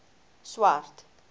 swart